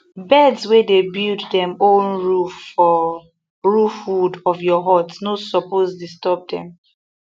birds wey dey build dem own for roof wood of your hut no suppose disturb dem